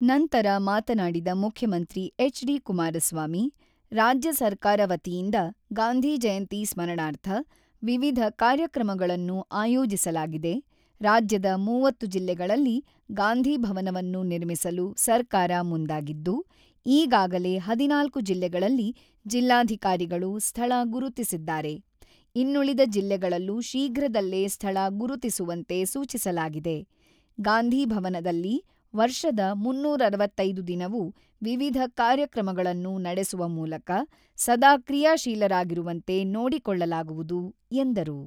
ನಂತರ ಮಾತನಾಡಿದ ಮುಖ್ಯಮಂತ್ರಿ ಎಚ್.ಡಿ.ಕುಮಾರಸ್ವಾಮಿ, "ರಾಜ್ಯ ಸರ್ಕಾರ ವತಿಯಿಂದ, ಗಾಂಧಿ ಜಯಂತಿ ಸ್ಮರಣಾರ್ಥ ವಿವಿಧ ಕಾರ್ಯಕ್ರಮಗಳನ್ನು ಆಯೋಜಿಸಲಾಗಿದೆ: ರಾಜ್ಯದ ಮೂವತ್ತು ಜಿಲ್ಲೆಗಳಲ್ಲಿ ಗಾಂಧಿ ಭವನವನ್ನು ನಿರ್ಮಿಸಲು ಸರ್ಕಾರ ಮುಂದಾಗಿದ್ದು, ಈಗಾಗಲೇ ಹದಿನಾಲ್ಕು ಜಿಲ್ಲೆಗಳಲ್ಲಿ ಜಿಲ್ಲಾಧಿಕಾರಿಗಳು ಸ್ಥಳ ಗುರುತಿಸಿದ್ದಾರೆ: ಇನ್ನುಳಿದ ಜಿಲ್ಲೆಗಳಲ್ಲೂ ಶೀಘ್ರದಲ್ಲೇ ಸ್ಥಳ ಗುರುತಿಸುವಂತೆ ಸೂಚಿಸಲಾಗಿದೆ: ಗಾಂಧಿ ಭವನದಲ್ಲಿ ವರ್ಷದ ಮೂನ್ನೂರ ಅರವತ್ತೈದು ದಿನವು ವಿವಿಧ ಕಾರ್ಯಕ್ರಮಗಳನ್ನು ನಡೆಸುವ ಮೂಲಕ ಸದಾ ಕ್ರಿಯಾಶೀಲರಾಗಿರುವಂತೆ ನೋಡಿಕೊಳ್ಳಲಾಗುವುದು 'ಎಂದರು.